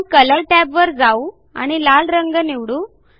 आपण कलर टॅबवर जाऊ आणि लाल रंग निवडू